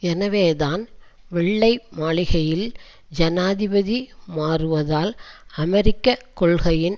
எனவேதான் வெள்ளை மாளிகையில் ஜனாதிபதி மாறுவதால் அமெரிக்க கொள்கையின்